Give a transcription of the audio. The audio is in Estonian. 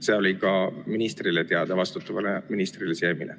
See oli teada ka vastutavale ministrile Siemile.